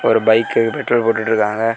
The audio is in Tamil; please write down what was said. ஒரு பைக்கு பெட்ரோல் போட்டுட்ருக்காங்க.